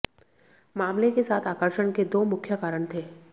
मामले के साथ आकर्षण के दो मुख्य कारण थे